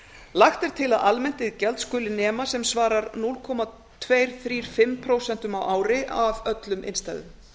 lagt er til að almennt iðgjald skuli nema sem svarar núll komma tvo þrjá fimm prósent á ári af öllum innstæðum